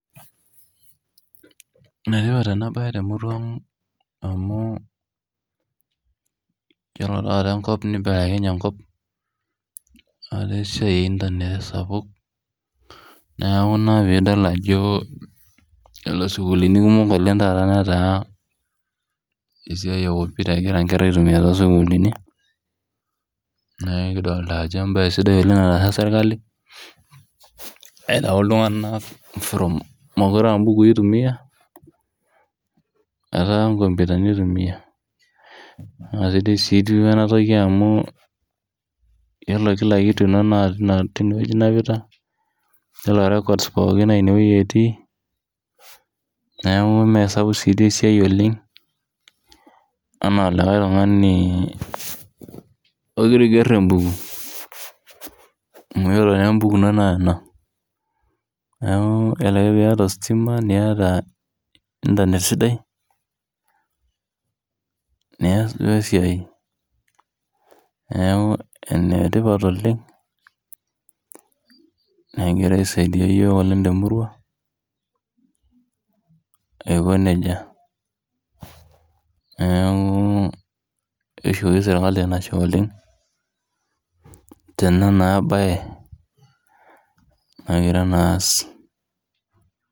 Enetipat enabae temurua amu yiolo taata enkop nibelekenye enkop, etaa esiai e internet esapuk, neeku ina pidol ajo yiolo sukuulini kumok oleng taata netaa esiai ekompita egira nkera aitumia tosukuulini. Neeku kidolta ajo ebae sidai oleng nataasa sirkali, aitau iltung'anak from mokure abukui itumia, etaa nkompitani itumia. Nasidai si duo enatoki amu yiolo kila kitu ino naa tinewoji inapita, yiolo records pookin naa inewoi etii, neeku mesapuk si di esiai oleng, anaa likae tung'ani ogira aiger ebuku. Amu yiolo nebuku ino naa ena. Neeku yiolo ake piata ostima, niata internet sidai, nias duo esiai. Neeku enetipat oleng, negira aisaidia yiok oleng temurua, aiko nejia. Neeku, kishoki serkali enashe oleng, tena naa bae nagira naa aas.